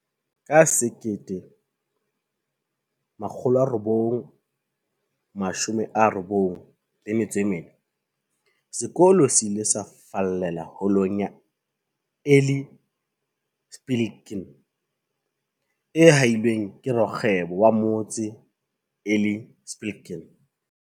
Ka 1994, sekolo se ile sa fallela Holong ya Eli Spilkin, e hahilweng ke rakgwebo wa motse, Eli Spilkin.